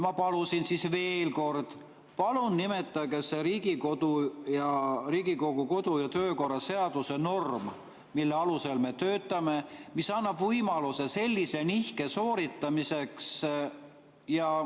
Ma palusin siis veel kord, et palun nimetage see Riigikogu kodu‑ ja töökorra seaduse norm, mille alusel me töötame ja mis annab võimaluse sellise nihke sooritamiseks.